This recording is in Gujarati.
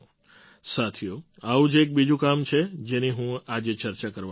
સાથીઓ આવું જ એક બીજું કામ છે જેની હું આજે ચર્ચા કરવા માગીશ